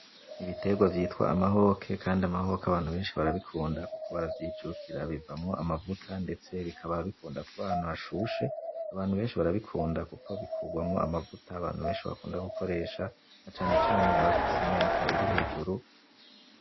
Ibiterwa vyitwa amahoke kandi amahoke abantu abeshi barabikunda kuko baravyijukira bivamwo amavuta ndetse bikaba bikunda kuba ahantu hashushe abantu beshi barabikunda kuko bikorwamwo amavuta abantu beshi bakunda gukoresha cane cane abafise imyaka iri hejuru.